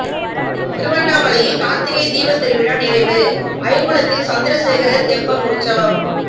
திருவண்ணாமலையில் கார்த்திகை தீபத்திருவிழா நிறைவு ஐயங்குளத்தில் சந்திரசேகரர் தெப்பல் உற்சவம்